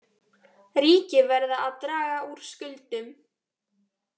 Ríki verða að draga úr skuldum